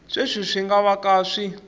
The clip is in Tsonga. sweswi swi nga vaka swi